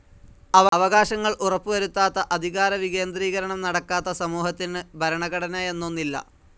അവകാശങ്ങൾ ഉറപ്പു വരുത്താത്ത, അധികാരവികേന്ദ്രീകരണം നടക്കാത്ത സമൂഹത്തിന് ഭരണഘടനയെന്നൊന്നില്ല.